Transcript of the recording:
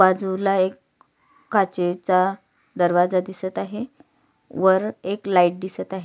बाजूला एक काचेचा दरवाजा दिसत आहे वर एक लाइट दिसत आहे.